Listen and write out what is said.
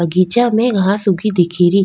बगीचा में घास उगी दिखे री।